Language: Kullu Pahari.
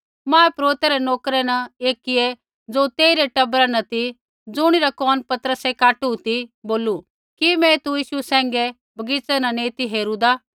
महापुरोहित रै नोकरै न एकियै ज़ो तेई रै टबरा न ती ज़ुणिरा कोन पतरसै काटू ती बोलू कि मैं तू यीशु सैंघै बगीच़ै न नैंई ती हेरूदा ती